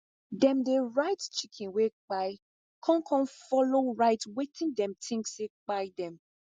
dem dey write chicken wey kpai con con follow write wetin dim think say kpai dem